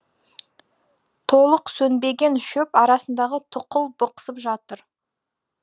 толық сөнбеген шөп арасындағы тұқыл бықсып жатыр